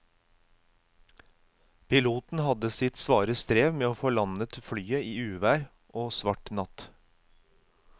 Piloten hadde sitt svare strev med å få landet flyet i uvær og svart natt.